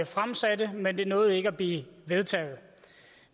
fremsatte det men det nåede ikke at blive vedtaget